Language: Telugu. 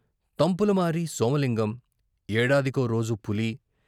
తంపులమారి సోమలింగం ఏడాదికో రోజు పులి